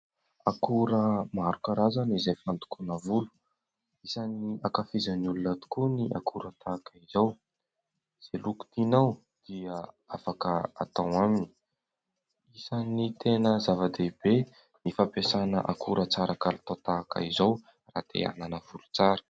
Akora maro karazana izay fandokoana volo. Isan'ny hankafizin'ny olona tokoa ny akora tahaka izao, izay loko tinao dia afaka atao aminy. Isan'ny tena zava-dehibe ny fampiasana akora tsara kalitao tahaka izao raha te hanana volo tsara.